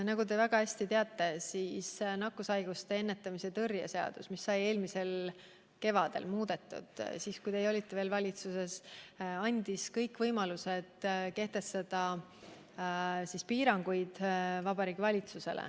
Nagu te väga hästi teate, andis nakkushaiguste ennetamise ja tõrje seadus, mida sai muudetud eelmisel kevadel, kui teie olite valitsuses, Vabariigi Valitsusele kõik võimalused kehtestada piiranguid.